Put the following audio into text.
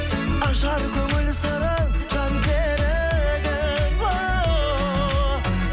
ажар көңіл сыры жан серігің ооо